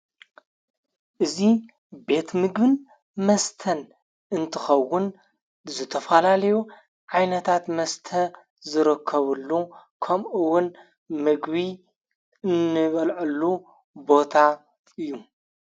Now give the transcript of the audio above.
እዙ ቤት ምግን መስተን እንትኸውን ዝተፈላልዩ ዓይነታት መስተ ዝረከቡሉ ከምኡውን ምግቢ እንበልዕሉ ቦታ እዩ